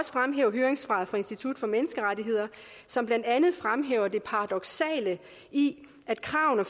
fremhæve høringssvaret fra institut for menneskerettigheder som blandt andet fremhæver det paradoksale i at kravene